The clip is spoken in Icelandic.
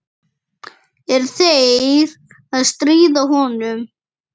Er þeir að stríða honum?